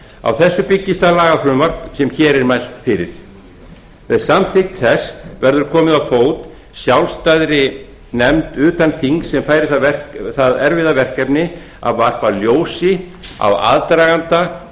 á þessu byggist það lagafrumvarp sem hér er mælt fyrir með samþykkt þess verður komið á fót sjálfstæðri nefnd sérfræðinga utan þings sem fær það erfiða verkefni að varpa ljósi á aðdraganda